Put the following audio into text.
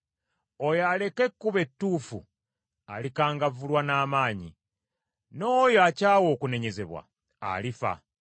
Oyo aleka ekkubo ettuufu alikangavvulwa n’amaanyi, n’oyo akyawa okunenyezebwa alifa.